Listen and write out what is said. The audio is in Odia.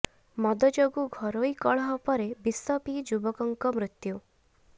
ମଦ ଯୋଗୁଁ ଘରୋଇ କଳହ ପରେ ବିଷ ପିଇ ଯୁବକଙ୍କ ମୃତ୍ୟୁ